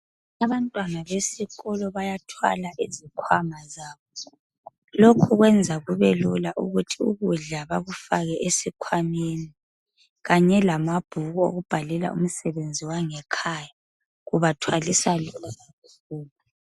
Abantwana besikolo bayathwala izikhwama zabo .Lokhu kwenza kube lula ukuthi ukudla bakufake esikhwameni kanye lamabhuku okubhalela umsebenzi wangekhaya .kubathwalisa lula lasesikolo.